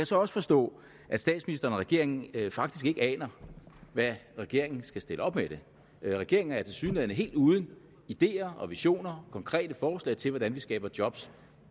så også forstå at statsministeren og regeringen faktisk ikke aner hvad regeringen skal stille op med det regeringen er tilsyneladende helt uden ideer og visioner konkrete forslag til hvordan vi skaber job